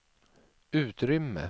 utrymme